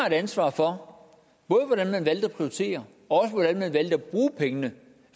et ansvar for hvordan man valgte at prioritere og hvordan man valgte at bruge pengene